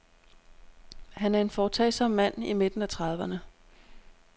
Han er en foretagsom mand i midten af trediverne.